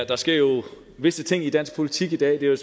der sker jo visse ting i dansk politik i dag det er